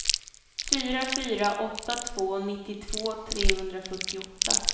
fyra fyra åtta två nittiotvå trehundrafyrtioåtta